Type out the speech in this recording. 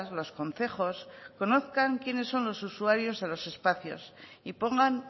los concejos conozcan quiénes son los usuarios de los espacios y pongan